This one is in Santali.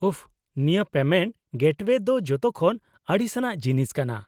-ᱩᱯᱷ, ᱱᱤᱭᱟᱹ ᱯᱮᱢᱮᱱᱴ ᱜᱮᱴᱳᱭᱮ ᱫᱚ ᱡᱚᱛᱚᱠᱷᱚᱱ ᱟᱹᱲᱤᱥᱟᱱᱟᱜ ᱡᱤᱱᱤᱥ ᱠᱟᱱᱟ ᱾